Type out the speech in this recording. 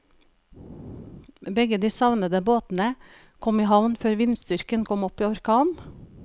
Begge de savnede båtene kom i havn før vindstyrken kom opp i orkan.